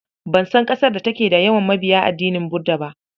Ban san ƙasar da take da yawan mabiya addinin Buda ba.